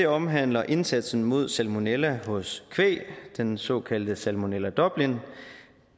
omhandler indsatsen mod salmonella hos kvæg den såkaldte salmonella dublin